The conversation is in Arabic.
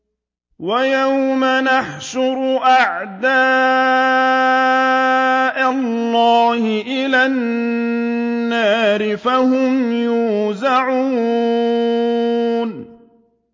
وَيَوْمَ يُحْشَرُ أَعْدَاءُ اللَّهِ إِلَى النَّارِ فَهُمْ يُوزَعُونَ